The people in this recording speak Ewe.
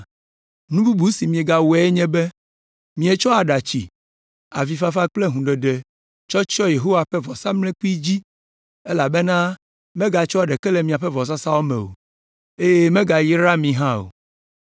Nu bubu si miegawɔe nye be, mietsɔ aɖatsi, avifafa kple hũɖeɖe tsɔ tsyɔ Yehowa ƒe vɔsamlekpui dzi elabena megatsɔa ɖeke le miaƒe vɔsasa me o, eye megayraa mi hã o.